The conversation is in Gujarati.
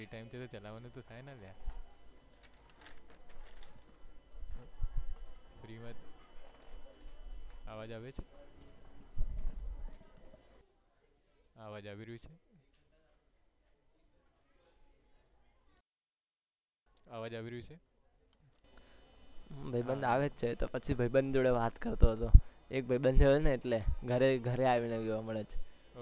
ભાઈબંધ આવે છે તો પછી ભાઈબંધ જોડે વાત કરતો હતો એક ભાઈબંધ એટલે ઘરે આવીને મળે છે